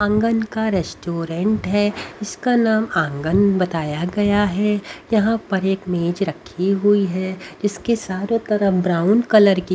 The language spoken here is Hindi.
आंगन का रेस्टोरेंट है इसका नाम आंगन बताया गया है यहां पर एक मेज रखी हुई है इसके सारे तरफ ब्राउन कलर की--